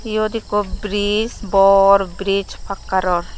iyot ekko bridge bor bridge pakkar or.